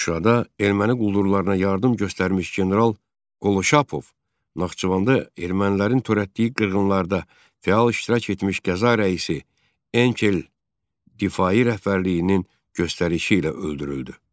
Şuşada erməni quldurlarına yardım göstərmiş general Qoloşapov, Naxçıvanda ermənilərin törətdiyi qırğınlarda fəal iştirak etmiş qəza rəisi Enkel Difai rəhbərliyinin göstərişi ilə öldürüldü.